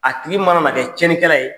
A tigi mana na kɛ tiɲɛnikɛla ye,